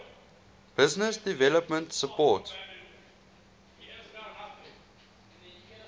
business development support